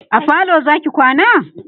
a falo Zaki kwana?